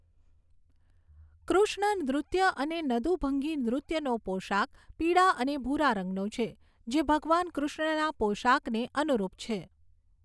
કૃષ્ણ નૃત્ય અને નદુભંગી નૃત્યનો પોષાક પીળા અને ભૂરા રંગનો છે, જે ભગવાન કૃષ્ણના પોશાકને અનુરૂપ છે.